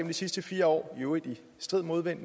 de sidste fire år i øvrigt med strid modstand